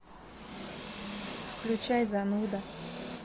включай зануда